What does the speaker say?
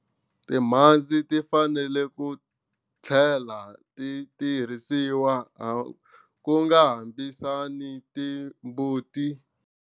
Timhandzi ti fanele ku tlhlela ti tirhisiwa ku hambisani timbuti.